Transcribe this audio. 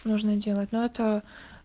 нужно делать но это